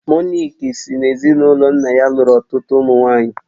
Monique si n'ezinụlọ nna ya lụrụ ọtụtụ ụmụ nwaanyị